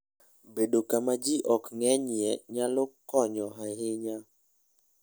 Bedo kama ji ok ng'enyie nyalo konyo ahinya.